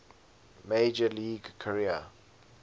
major league career